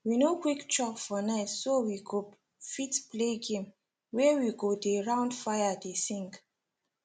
we no quick chop for night so we go fit play game wey we go dey round fire dey sing